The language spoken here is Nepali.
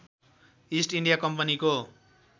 इस्ट इन्डिया कम्पनीको